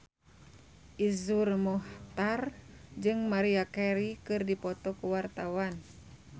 Iszur Muchtar jeung Maria Carey keur dipoto ku wartawan